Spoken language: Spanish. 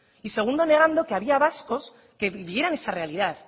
y segundo negando que había vascos que vivieran esa realidad